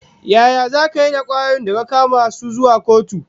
Yaya zaka yi da kwayoyin da ka kama su zuwa kotu?